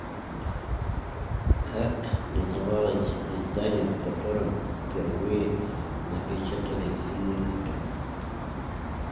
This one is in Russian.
как называлось издание в котором впервые напечатали зимнее утро